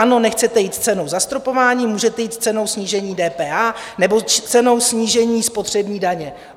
Ano, nechcete jít s cenou - zastropování, můžete jít s cenou - snížení DPH nebo s cenou - snížení spotřební daně.